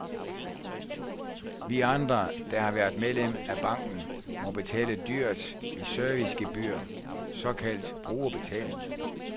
Vi andre, der har været medlem af banken, må betale dyrt i servicegebyr, såkaldt brugerbetaling.